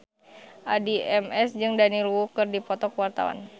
Addie MS jeung Daniel Wu keur dipoto ku wartawan